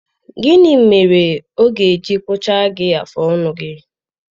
Gịnị mere ọ ga-eji kpụchaa gị afụ ọnụ gị?